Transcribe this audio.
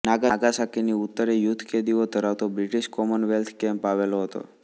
નાગાસાકીની ઉત્તરે યુદ્ધકેદીઓ ધરાવતો બ્રિટિશ કોમનવેલ્થ કૅમ્પ આવેલો હતો